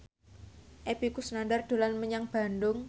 Epy Kusnandar dolan menyang Bandung